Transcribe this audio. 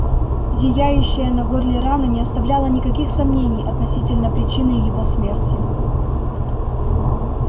зияющая на горле рана не оставляла никаких сомнений относительно причины его смерти